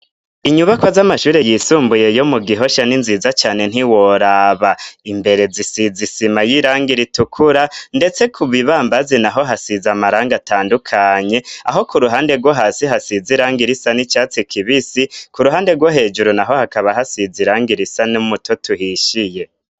inyubakwa z'amashuri yisumbuye yo mu gihoshya n'inziza cyane ntiworaba imbere zisiza isima y'irang ira itukura ndetse ku bibambazi naho hasize amaranga atandukanye aho ku ruhande rwo hasi hasize iranga irisa n'icyatsi kibisi ku ruhande rwo hejuru naho hakaba hasiz irang ir isa n'umuto tuhishyiye